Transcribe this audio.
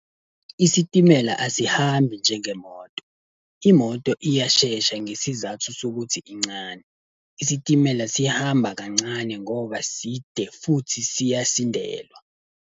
Isitimela asihambi njengemoto, imoto iyashesha ngesizathu sokuthi incane. Isitimela sihamba kancane ngoba side futhi siyasindelwa.